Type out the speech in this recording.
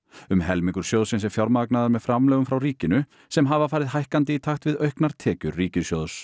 um helmingur sjóðsins er fjármagnaður með framlögum frá ríkinu sem hafa farið hækkandi í takt við auknar tekjur ríkissjóðs